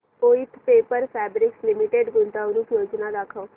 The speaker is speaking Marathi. वोइथ पेपर फैब्रिक्स लिमिटेड गुंतवणूक योजना दाखव